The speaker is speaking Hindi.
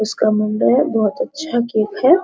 उसका मुंडेर बहुत अच्छा केक है ।